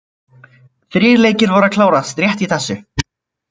Þrír leikir voru að klárast rétt í þessu.